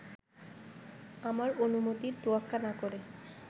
আমার অনুমতির তোয়াক্কা না করে